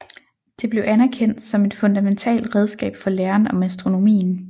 Det blev anerkendt som et fundamentalt redskab for læren om astronomien